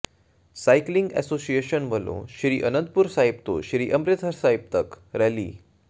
cycling association ਵੱਲੋਂ ਸ੍ਰੀ ਅਨੰਦਪੁਰ ਸਾਹਿਬ ਤੋਂ ਸ੍ਰੀ ਅੰਮ੍ਰਿਤਸਰ ਸਾਹਿਬ ਤੱਕ ਰੈਲੀ